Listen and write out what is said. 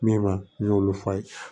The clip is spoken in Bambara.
Min b'a n y'olu fa ye